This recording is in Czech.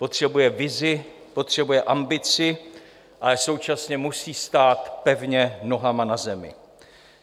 Potřebuje vizi, potřebuje ambici, ale současně musí stát pevně nohama na zemi.